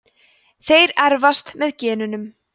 þeir erfast með genunum